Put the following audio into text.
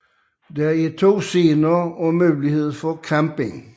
Der er to scener og mulighed for camping